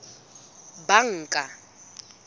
banka